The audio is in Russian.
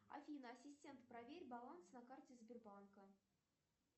афина ассистент проверь баланс на карте сбербанка